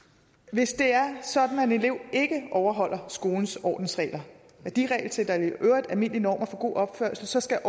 hvis det er sådan at en elev ikke overholder skolens ordensregler værdiregelsæt og i øvrigt almindelige normer for god opførsel så skal